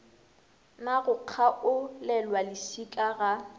na go kgaolelwa lešika ga